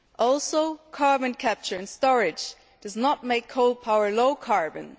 Also, carbon capture and storage do not make coal power low carbon.